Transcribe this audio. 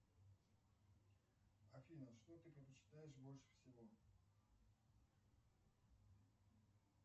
афина что ты предпочитаешь больше всего